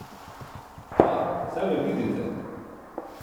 A, saj me vidite.